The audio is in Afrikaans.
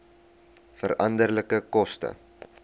veranderlike koste